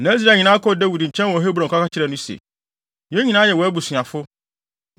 Na Israel nyinaa kɔɔ Dawid nkyɛn wɔ Hebron kɔka kyerɛɛ no se, “Yɛn nyinaa yɛ wʼabusuafo.